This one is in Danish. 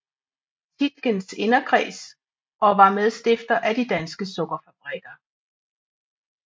Tietgens inderkreds og var medstifter af De Danske Sukkerfabrikker